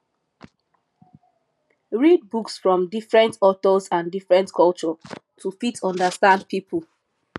read books from different authors and different culture to fit understand pipo